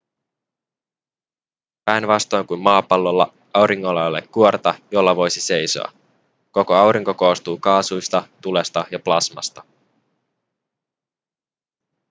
päinvastoin kuin maapallolla auringolla ei ole kuorta jolla voisi seisoa koko aurinko koostuu kaasuista tulesta ja plasmasta